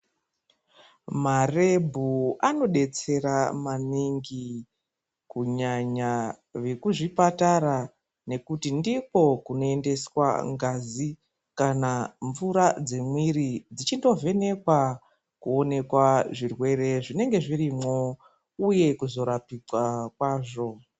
Marebho anobetsera maningi kunyanya wekuzvipatara ngekuti ndikwo kunoendeswa ngazi kana mvura dzemwiri ichitovhenekwa kuonekwa zvirwere zvinenge zvirimwo uye kuzorapikwa kwazvo.